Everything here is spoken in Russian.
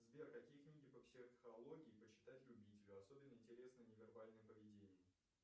сбер какие книги по психологии почитать любителю особенно интересно невербальное поведение